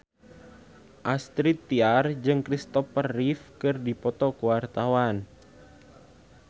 Astrid Tiar jeung Christopher Reeve keur dipoto ku wartawan